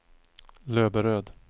Löberöd